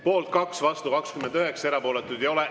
Poolt 2, vastu 29, erapooletuid ei ole.